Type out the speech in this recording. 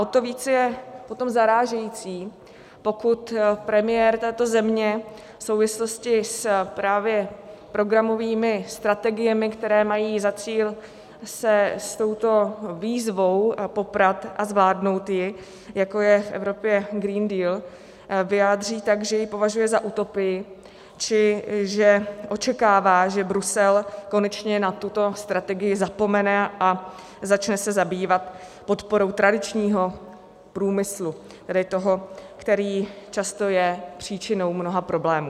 O to více je potom zarážející, pokud premiér této země v souvislosti právě s programovými strategiemi, které mají za cíl se s touto výzvou poprat a zvládnout ji, jako je v Evropě Green Deal, vyjádří tak, že ji považuje za utopii, či že očekává, že Brusel konečně na tuto strategii zapomene a začne se zabývat podporou tradičního průmyslu, tedy toho, který často je příčinou mnoha problémů.